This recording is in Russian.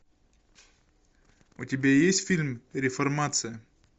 у тебя есть фильм реформация